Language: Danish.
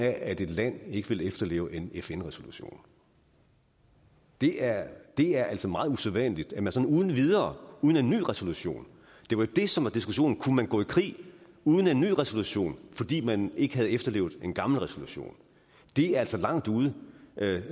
af at et land ikke vil efterleve en fn resolution det er er altså meget usædvanligt at man sådan uden videre gør uden en ny resolution det var jo det som var diskussionen kunne man gå i krig uden en ny resolution fordi man ikke havde efterlevet en gammel resolution det er altså langt ude